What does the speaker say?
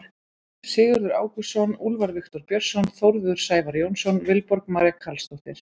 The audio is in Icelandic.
Sigurður Ágústsson, Úlfar Viktor Björnsson, Þórður Sævar Jónsson, Vilborg María Carlsdóttir.